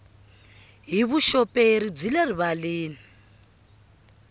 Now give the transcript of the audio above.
hi vuxoperi byi le rivaleni